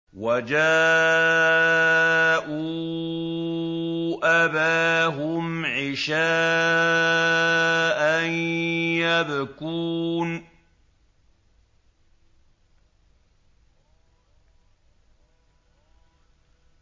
وَجَاءُوا أَبَاهُمْ عِشَاءً يَبْكُونَ